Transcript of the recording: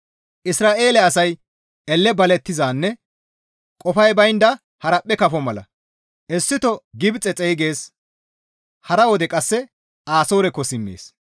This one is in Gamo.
«Isra7eele asay elle balettizanne qofay baynda haraphphe kafo mala. Issito Gibxe xeygees; hara wode qasse Asoorekko simmees;